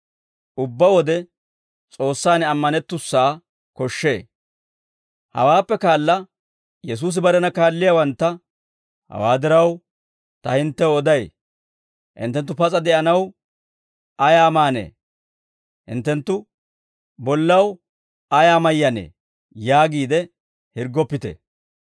Hawaappe kaala Yesuusi barena kaalliyaawantta, «Hawaa diraw, ta hinttew oday: hinttenttu pas'a de'anaw ayaa maanee? Hinttenttu bollaw ayaa mayyanee? yaagiide hirggoppite.